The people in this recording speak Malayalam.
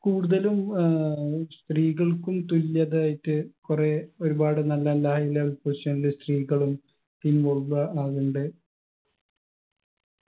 കൂടുതലും ഏർ ഈ സ്ത്രീകൾക്കും തുല്യതയായിട്ട് കൊറേ ഒരുപാട് നല്ലല്ല high level position ല് സ്ത്രീകളും അതുണ്ട്